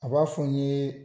A b'a fɔ n ye